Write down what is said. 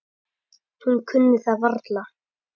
Hún kunni það varla.